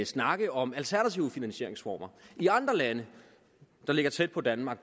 snakke om alternative finansieringsformer i andre lande der ligger tæt på danmark